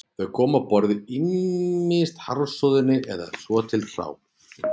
Þau komu á borðið ýmist harðsoðin eða svo til hrá